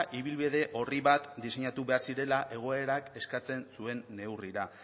ibilbide orri bat diseinatu behar zela goerak eskatzen zuen neurrira